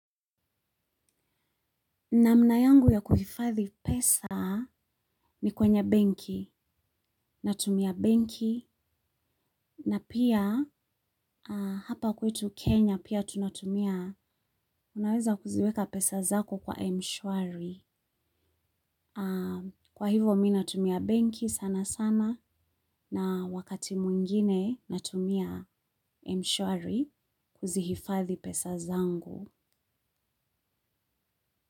Namna yangu ya kuhifadhi pesa ni kwenye benki, natumia benki, na pia hapa kwetu Kenya pia tunatumia, unaweza kuziweka pesa zako kwa emshuari. Kwa hivo mi natumia benki sana sana na wakati mwingine natumia emshuari kuzihifadhi pesa zangu.